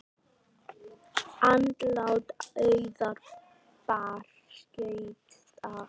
Andlát Auðar bar skjótt að.